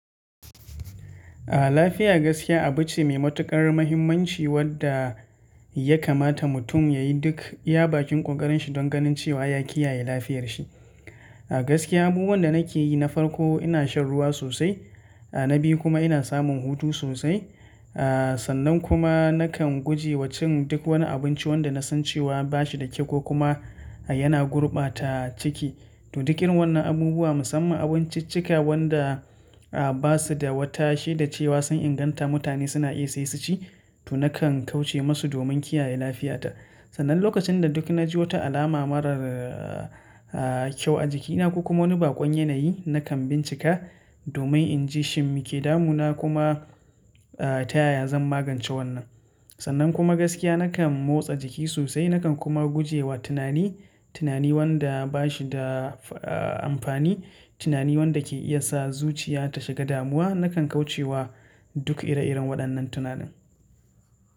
Ah lafiya gaskiya abu ce mai matuƙar mahimmanci wadda ya kamata mutum ya yi duk iya bakin ƙoƙarin shi don ganin cewa ya kiyaye lafiyar shi. A gaskiya abubuwan da nake yi na farko ina shan ruwa sosai, a na biyu kuma ina samun hutu sosai. A sannan kuma nakan guje wa cin duk wani abinci wanda na san cewa ba shi da kyau ko kuma yana gurbata ciki. To, duk irin wannan abubuwa musamman abun ciccika wanda basu da wata sheda cewa sun inganta mutane suna iya sai su ci, to nakan kauce musu domin kiyaye lafiyata. Sannan lokacin da duk na ji wata alama marar a kyau a jikina ko kuma wani baƙon yanayi nakan bincika domin in ji shin mi ke damu na kuma a ta yaya zan magance wannan. Sannan kuma gaskiya nakan motsa jiki sosai nakan kuma guje wa tunani, tunani wanda bashi da a amfani, tunani wanda ke iya sa zuciya ta shiga damuwa nakan kauce wa duk ire-iren waɗannan tunanin.